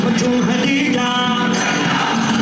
Ya Hacı Zəhra!